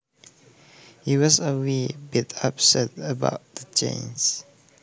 He was a wee bit upset about the changes